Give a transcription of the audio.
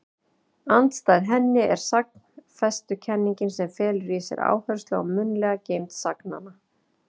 Andstæð henni er sagnfestukenningin sem felur í sér áherslu á munnlega geymd sagnanna.